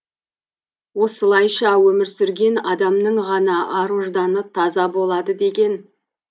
осылайша өмір сүрген адамның ғана ар ожданы таза болады деген